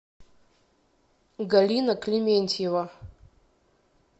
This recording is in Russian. галина клементьева